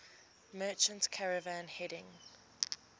merchant caravan heading